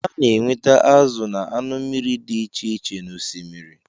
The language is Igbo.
A na-enweta azụ na anụ mmiri dị iche iche n'Osimiri